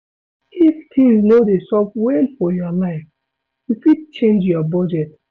If things no dey sup well for your life, you fit change your budget